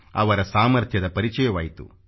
ಅವರ ಸಾಮರ್ಥ್ಯದ ಪರಿಚಯವಾಯಿತು